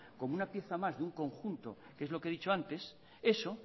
como una pieza más de un conjunto que es lo que he dicho antes eso